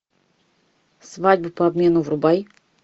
свадьба по обмену врубай